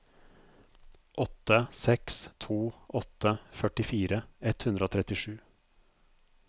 åtte seks to åtte førtifire ett hundre og trettisju